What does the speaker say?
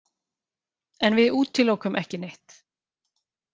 En við útilokum ekki neitt.